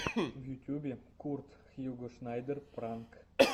в ютюбе курт хьюго шнайдер пранк